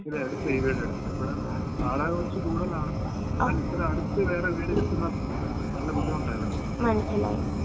ഇതെടുത്തത്, ഈ വീട് എടുത്തത്. ഇവിടെ വാടക കുറച്ച് കൂടുതലാണ്, എന്നാലും ഇത്രേം അടുത്ത് വേറെ വീട് കിട്ടുന്ന നല്ല ബുദ്ധിമുട്ടാ ഇവിടെ.